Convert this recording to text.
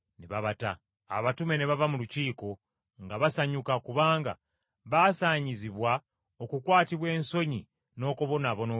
Abatume ne bava mu Lukiiko nga basanyuka kubanga baasaanyizibwa okukwatibwa ensonyi n’okubonaabona olw’Erinnya.